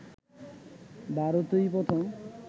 ভারতই প্রথম